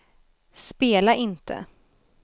spela inte